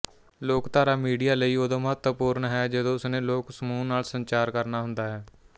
ਲੋਕਧਾਰਾ ਮੀਡੀਆ ਲਈ ਉਦੋਂ ਮਹਤਵਪੂਰਨ ਹੈ ਜਦੋਂ ਉਸਨੇ ਲੋਕ ਸਮੂਹ ਨਾਲ ਸੰਚਾਰ ਕਰਨਾ ਹੁੰਦਾ ਹੈ